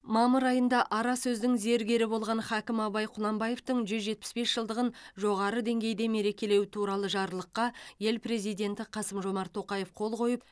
мамыр айында ара сөздің зергері болған хакім абай құнанбаевтың жүз жетпіс бес жылдығын жоғары деңгейде мерекелеу туралы жарлыққа ел президенті қасым жомарт тоқаев қол қойып